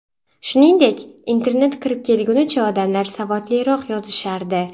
Shuningdek, internet kirib kelgunicha odamlar savodliroq yozishardi.